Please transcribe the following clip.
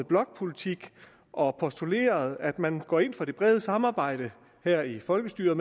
blokpolitik og postuleret at man går ind for det brede samarbejde her i folketinget